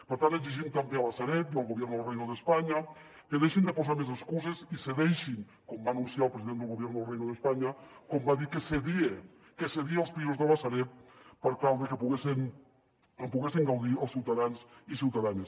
per tant exigim també a la sareb i al gobierno del reino de españa que deixin de posar més excuses i cedeixin com va anunciar el president del gobierno del reino de españa com va dir que cedia els pisos de la sareb per tal de que en poguessin gaudir els ciutadans i ciutadanes